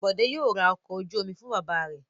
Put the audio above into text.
Bọ̀dé yóò ra ọkọ̀ ojú-omi fún bàbá rẹ̀.